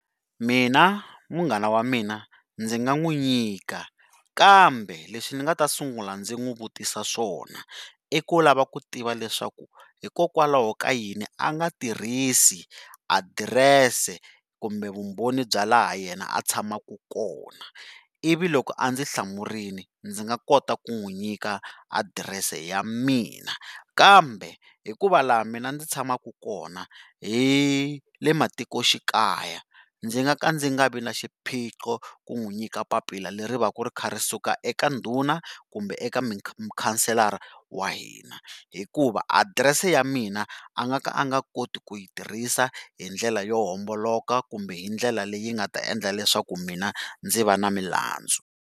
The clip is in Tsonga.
Mina, munghana wa mina ndzi nga n'wi nyika kambe leswi ni nga ta sungula ndzi n'wi vutisa swona, i ku lava ku tiva leswaku hikokwalaho ka yini a nga tirhisi adirese kumbe vumbhoni bya laha yena a tshamaku kona, ivi loko a ndzi hlamurile ndzi nga kota ku n'wi nyika adirese ya mina. Kambe hikuva laha mina ndzi tshamaku kona, hi le matikoxikaya ndzi nga ka ndzi nga vi ni xiphiqo ku n'wi nyika papila leri va ku ri kha ri suka eka ndhuna kumbe eka mukhanselara wa hina. Hikuva adirese ya mina a nga ka a nga koti ku yi tirhisa hi ndlela yo homboloka kumbe hi ndlela leyi nga ta endla leswaku mina ndzi va na milandzu.